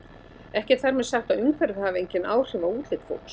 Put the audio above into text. Ekki er þar með sagt að umhverfið hafi engin áhrif á útlit fólks.